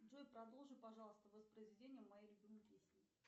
джой продолжи пожалуйста воспроизведение моей любимой песни